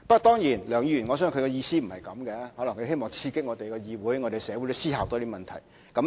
當然，我相信梁議員的意思不是這樣，可能他希望刺激議會和社會多思考問題。